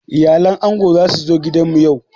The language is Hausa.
Iyalan ango za su zo gidan mu yau.